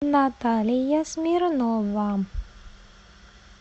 наталья смирнова